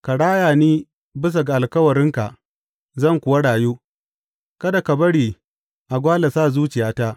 Ka raya ni bisa ga alkawarinka, zan kuwa rayu; kada ka bari a gwale sa zuciyata.